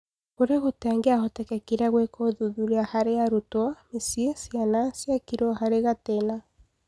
Kũrĩa gũtangĩahotekekire gũĩkwo ũthuthuria harĩ arutwo, mĩciĩ, ciana ciekĩirwo harĩ gatĩna.